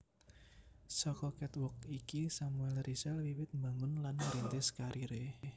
Saka catwalk iki Samuel Rizal wiwit mbangun lan ngrintis kariré